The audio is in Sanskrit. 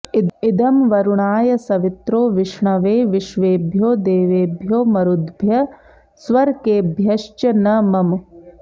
इदं वरुणाय सवित्रो विष्णवे विश्वेभ्यो देवेभ्यो मरुद्भ्यः स्वर्केभ्यश्च न मम